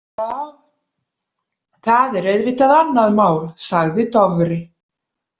Já, það er auðvitað annað mál, sagði Dofri.